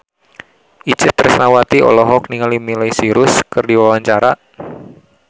Itje Tresnawati olohok ningali Miley Cyrus keur diwawancara